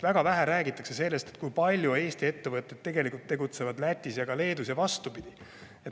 Väga vähe räägitakse sellest, kui palju Eesti ettevõtteid tegelikult tegutseb Lätis ja Leedus ning vastupidi.